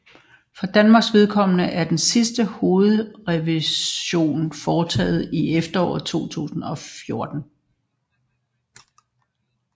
For Danmarks vedkommende er den sidste hovedrevision foretaget i efteråret 2014